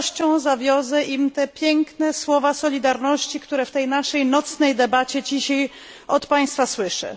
Z radością zawiozę im te piękne słowa solidarności, które w tej naszej nocnej debacie dzisiaj od Państwa słyszę.